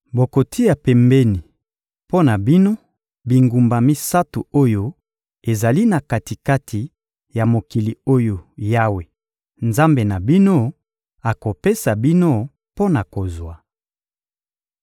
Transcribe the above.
bokotia pembeni mpo na bino, bingumba misato oyo ezali na kati-kati ya mokili oyo Yawe, Nzambe na bino, akopesa bino mpo na kozwa.